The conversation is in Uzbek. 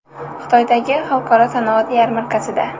Xitoydagi Xalqaro sanoat yarmarkasida.